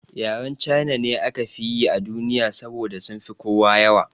Yaren China ne aka fi yi a duniya saboda sunfi kowa yawa